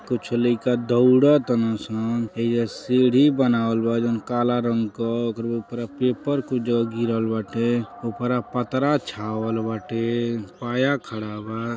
कुछ लइका दौड़ ताडन सन एइजा सीढ़ी बनावल बा जौन काला रंग क ओकर ऊपरे पेपर कुछ जगह गिरल बाटे ओकरा पत्रा छावल बाटे पाया खड़ा बा।